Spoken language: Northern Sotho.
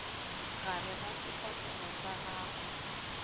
gare ga sefahlogo sa gago